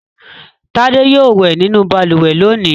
Tádé yóò wẹ̀ nínú balùwẹ̀ lónìí!